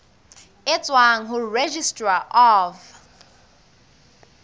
e tswang ho registrar of